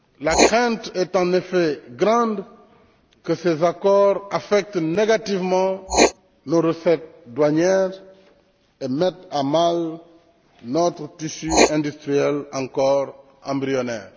La crainte est en effet grande que ces accords affectent négativement nos recettes douanières et mettent à mal notre tissu industriel encore embryonnaire.